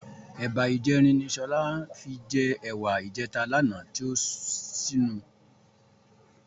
Ẹ̀ba ìjẹrin ni Sọlá fi jẹ ẹ̀wà ìjẹta lánàá tí ó ṣínu.